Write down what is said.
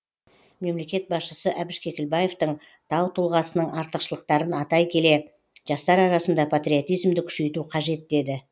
мемлекет басшысы әбіш кекілбаевтың тау тұлғасының артықшылықтарын атай келе жастар арасында патриотизмді күшейту қажет деді